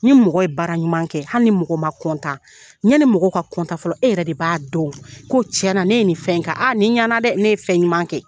Ni mɔgɔ ye bara ɲuman kɛ hali ni mɔgɔ ma yanni mɔgɔ ka fɔlɔ e yɛrɛ de b'a dɔn ko tiɲƐna ne ye nin fɛn in kƐ aa nin ɲana dɛ ne ye fɛn ɲuman kɛ